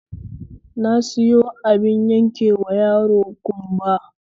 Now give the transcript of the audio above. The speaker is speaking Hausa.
Na sayo abin yankewa yaro ƙumba